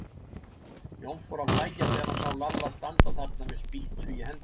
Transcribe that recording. Jói fór að hlæja þegar hann sá Lalla standa þarna með spýtu í hendinni.